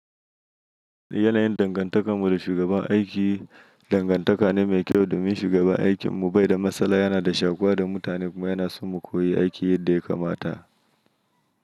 Yana yin dangantaka tare da shugaban aiki. Dangantaka ne mai kyau domin shugaban aikin mu bai da matsala, yana da shakuwa da mutane kuma yana son mu koyi aiki yadda ya kamata.